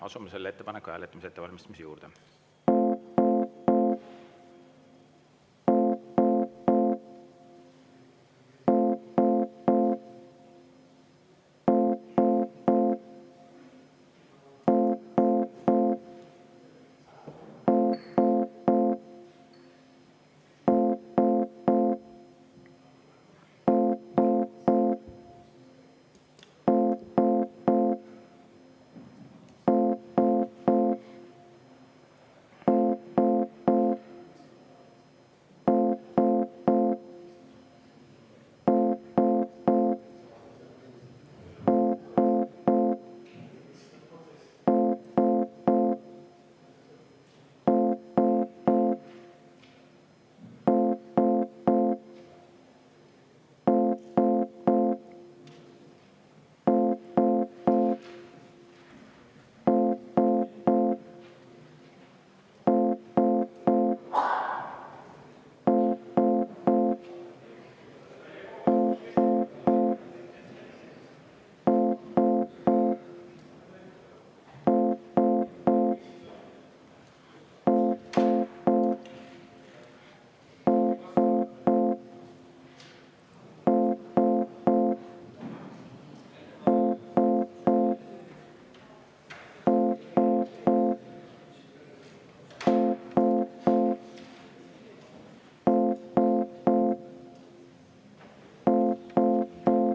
Asume selle ettepaneku hääletamise ettevalmistamise juurde.